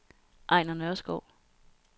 Ejnar Nørskov